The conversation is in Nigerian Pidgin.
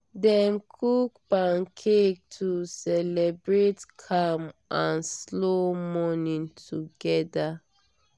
dem cook pancake to celebrate calm and slow morning together.